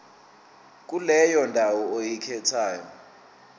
kuleyo ndawo oyikhethayo